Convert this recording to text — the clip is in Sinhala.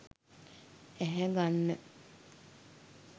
ඇහැ ගන්න